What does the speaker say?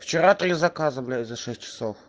вчера три заказа блять за шесть часов